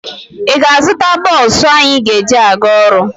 Ị ga-azụta bọọsụ anyị ga-eji aga ọrụ.